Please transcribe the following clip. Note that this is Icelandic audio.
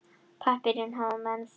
Pappírinn hafa menn þekkt.